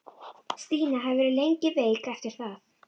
Stína hafði verið lengi veik eftir það.